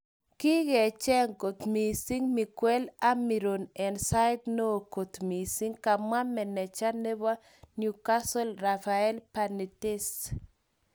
Kigecheng kot missing Miguel Amiron en sait neo kot mising. Kamwa maneja nepo newcatle Rafael benitez.